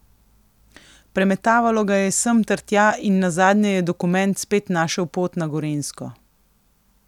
Premetavalo ga je sem ter tja in nazadnje je dokument spet našel pot na Gorenjsko.